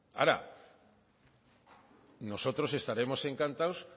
nosotros estaremos encantados